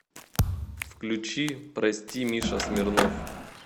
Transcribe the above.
включи прости миша смирнов